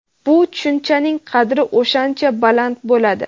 bu tushunchaning qadri o‘shancha baland bo‘ladi.